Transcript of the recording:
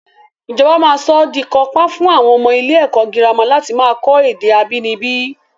Ìjọba máa sọ́ di kàńpá fún àwọn ọmọ ilé ẹ̀kọ́ girama láti máa kọ́ èdè abínibí